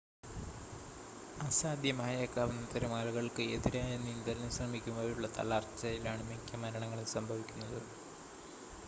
അസാധ്യമായേക്കാവുന്ന തിരമാലകൾക്ക് എതിരായ നീന്തലിന് ശ്രമിക്കുമ്പോഴുള്ള തളർച്ചയിലാണ് മിക്ക മരണങ്ങളും സംഭവിക്കുന്നത്